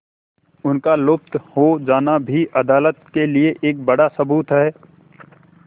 उनका लुप्त हो जाना भी अदालत के लिए एक बड़ा सबूत है